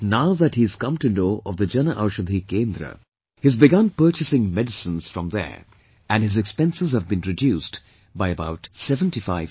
But now that he's come to know of the Jan Aushadhi Kendra, he has begun purchasing medicines from there and his expenses have been reduced by about 75%